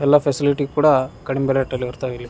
ಎಲ್ಲ ಫೆಸಿಲಿಟಿ ಕೂಡ ಕಡಿಮೆ ರೇಟಲ್ಲಿ ಬರ್ತಾವಿಲ್ಲಿ.